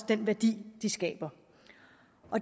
den værdi de skaber